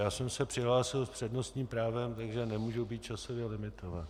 Já jsem se přihlásil s přednostním právem, takže nemohu být časově limitován.